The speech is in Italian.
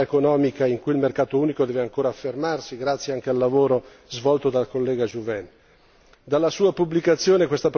una delle aree più importanti di attività economica in cui il mercato unico deve ancora affermarsi, grazie anche al lavoro svolto dal collega Juvin.